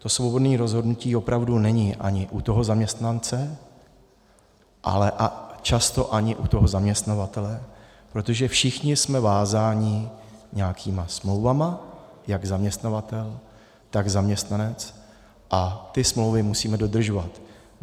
To svobodné rozhodnutí opravdu není ani u toho zaměstnance, ale často ani u toho zaměstnavatele, protože všichni jsme vázáni nějakými smlouvami, jak zaměstnavatel, tak zaměstnanec, a ty smlouvy musíme dodržovat.